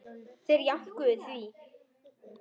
Þeir jánkuðu því.